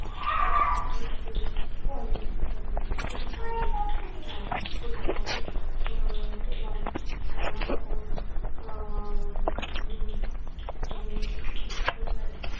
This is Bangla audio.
ছুটি থাকে উম এবং নানা রকম উম